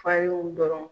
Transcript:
Fa y'o dɔrɔn